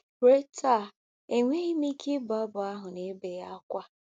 Ruo taa, enweghị m ike ịbụ abụ a n'ebe gị ákwá.